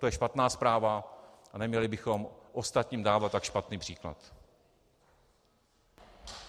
To je špatná zpráva a neměli bychom ostatním dávat tak špatný příklad.